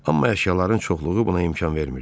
Amma əşyaların çoxluğu buna imkan vermirdi.